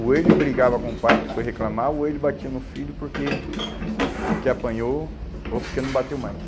Ou ele brigava com o pai que foi reclamar, ou ele batia no filho porque porque apanhou ou porque não bateu mais.